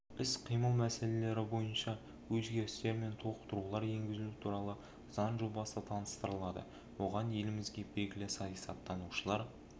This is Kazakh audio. іс-қимыл мәселелері бойынша өзгерістер мен толықтырулар енгізу туралы заң жобасы таныстырылады оған елімізге белгілі саясаттанушылар